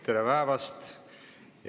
Tere päevast!